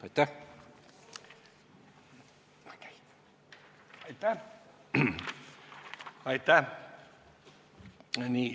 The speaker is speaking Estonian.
Aitäh!